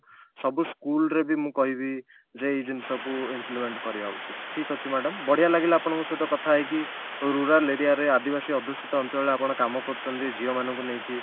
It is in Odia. ସବୁ school ରେ ବି ମୁଁ କହିବି ଯେ ଏଇ ଜିନିଷକୁ implement କରିବା ଉଚିତ ଠିକ ଅଛି madam ବଢିଆ ଲାଗିଲା ଆପଣଙ୍କ ସହିତ କଥା ହେଇକି rural area ରେ ଆଦିବାସୀ ଅଧିଶିତ ଅଞ୍ଚଳରେ ଆପଣ କାମ କରୁଛନ୍ତି ଝିଅ ମାନଙ୍କୁ ନେଇକି